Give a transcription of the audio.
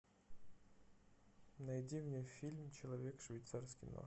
найди мне фильм человек швейцарский нож